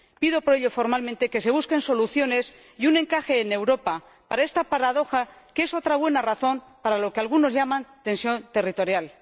Pido por ello, formalmente, que se busquen soluciones y un encaje en Europa para esta paradoja, que es otra buena razón para lo que algunos llaman tensión territorial.